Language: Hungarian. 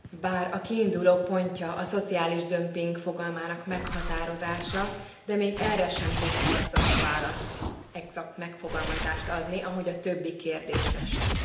Bár a kiindulópontja a szociális dömping fogalmának meghatározása, de még erre sem tud egzakt választ, egzakt megfogalmazást adni, ahogy a többi kérdésre sem.